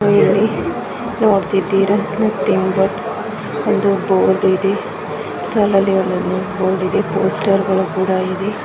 ಇಲ್ಲಿ ನೋಡ್ತಾ ಇದ್ದೀರಾ ಒಂದು ಬೋರ್ಡ್ ಇದೆ. ಒಂದು ಬೋರ್ಡ್ ಇದೆ. ಪೋಸ್ಟರ್ ಗಳು ಕೂಡ ಇದೆ.